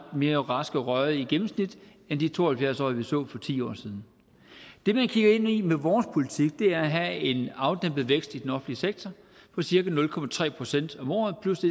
mere raske og rørige end de to og halvfjerds årige vi så for ti år siden det man kigger ind i med vores politik er at have en afdæmpet vækst i den offentlige sektor på cirka nul procent om året plus det